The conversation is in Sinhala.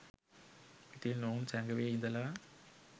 ඉතින් ඔවුන් සැඟවී ඉදලා